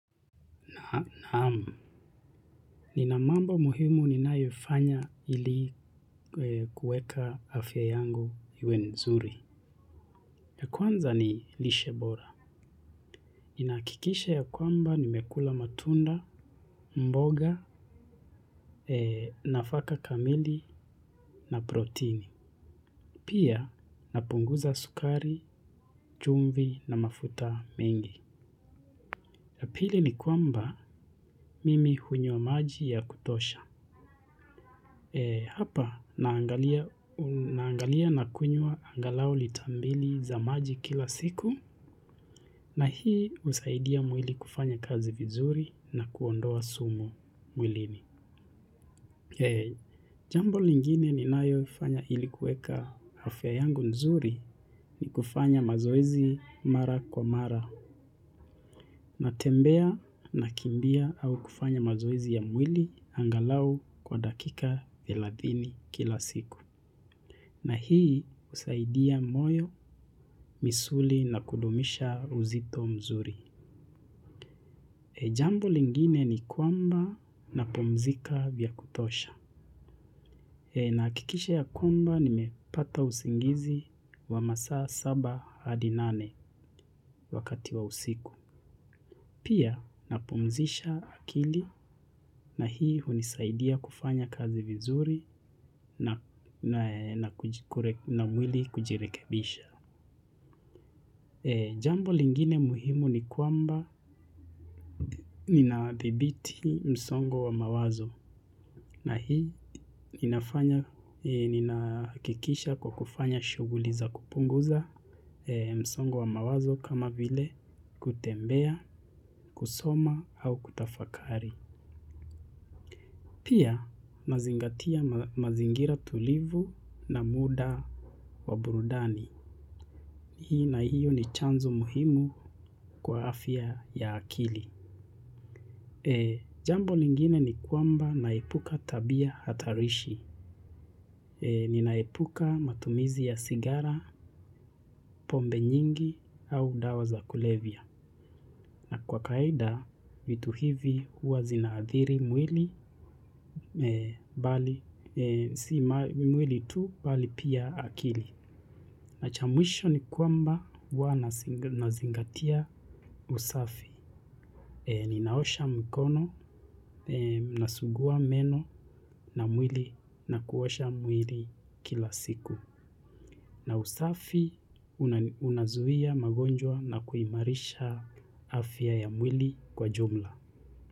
Naam, nina mambo muhimu ninayofanya ili kuweka afya yangu iwe nzuri. Kwanza ni lishe bora. Ninahakikisha ya kwamba nimekula matunda, mboga, nafaka kamili na protini. Pia napunguza sukari, chumvi na mafuta mengi. Pili ni kwamba mimi hunywa maji ya kutosha. Hapa naangalia na kunywa angalau lita mbili za maji kila siku na hii husaidia mwili kufanya kazi vizuri na kuondoa sumu mwilini. Jambo lingine ninayofanya ili kuweka afya yangu nzuri ni kufanya mazoezi mara kwa mara natembea, nakimbia au kufanya mazoezi ya mwili angalau kwa dakika thelasini kila siku. Na hii husaidia moyo, misuli na kudumisha uzito mzuri. Jambo lingine ni kwamba napumzika vya kutosha. Nahakikisha ya kwamba nimepata usingizi wa masaa saba hadi nane wakati wa usiku. Pia napumzisha akili na hii hunisaidia kufanya kazi vizuri na na mwili kujirekebisha. Jambo lingine muhimu ni kwamba ninadhibiti msongo wa mawazo na hii inafanya ninahakikisha kwa kufanya shughuli za kupunguza msongo wa mawazo kama vile kutembea, kusoma au kutafakari. Pia nazingatia mazingira tulivu na muda wa burudani. Hii na hiyo ni chanzo muhimu kwa afya ya akili. Jambo lingine ni kwamba naepuka tabia hatarishi. Ninaepuka matumizi ya sigara, pombe nyingi au dawa za kulevya. Na kwa kawaida, vitu hivi huwa zinaadhiri mwili bali si mwili tu, bali pia akili. Na cha mwisho ni kwamba huwa nazingatia usafi. Ninaosha mkono, nasugua meno na mwili nakuosha mwili kila siku. Na usafi unazuia magonjwa na kuimarisha afya ya mwili kwa jumla.